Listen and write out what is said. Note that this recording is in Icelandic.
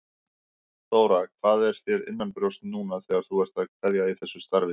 Þóra: Hvað er þér innanbrjósts núna þegar þú ert að kveðja í þessu starfi?